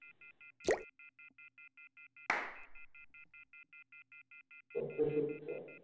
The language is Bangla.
তথ্য সজ্জা